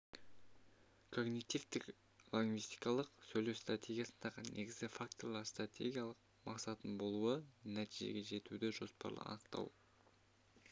когнитивтік лингвистикалық сөйлеу стратегиясындағы негізгі факторлар стратегиялық мақсаттың болуы нәтижеге жетуді жоспарлы анықтау